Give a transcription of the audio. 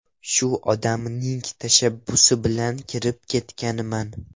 Shu odamning tashabbusi bilan kirib ketganman.